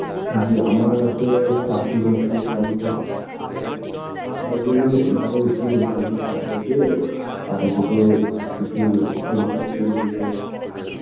যে আমার আসলে চাকরি বাকরি তেমন হচ্ছে ভালো হলে ভালো হতো. কিন্তু আমি ঢাকায় গিয়ে আপাতত কিছু Friend circle মিলে